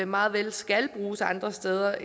meget vel skal bruges andre steder